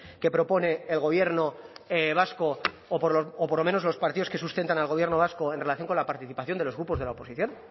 que propone el gobierno vasco o por lo menos los partidos que sustentan al gobierno vasco en relación con la participación de los grupos de la oposición